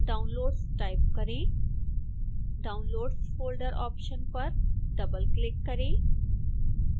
downloads type करें downloads folder option पर double click करें